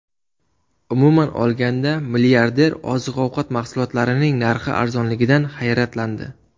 Umuman olganda, milliarder oziq-ovqat mahsulotlarining narxi arzonligidan hayratlandi.